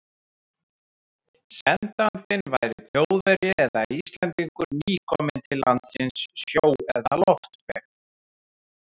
Sendandinn væri Þjóðverji eða Íslendingur, nýkominn til landsins sjó- eða loftveg.